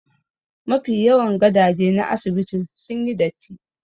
Mafi yawan gadaje na asibitin sun yi datti